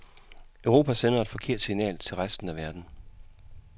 Europa sender et forkert signal til resten af verden.